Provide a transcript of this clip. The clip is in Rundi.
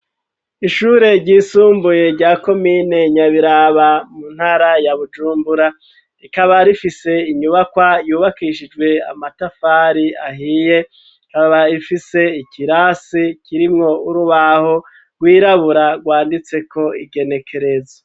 Ishure ry'isumbuye rya komine nya biraba, mu ntara ya bujumbura, rikaba rifise inyubakwa yubakishijwe amatafari ahiye ,kaba ifise ikirasi kirimwo urubaho rwirabura rwanditse ko igenekerezo.